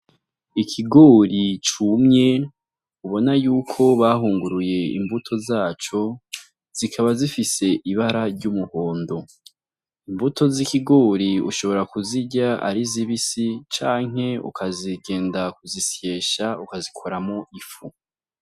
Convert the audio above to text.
Ikigori cumye ubona yuko bahunguruye, imbuto zaco zikaba zifise ibara ry'umuhondo imbuto z'ibigori ushobora kuzirya ari zibisi canke ukagenda kuzisyesha ukazikuramwo ifu.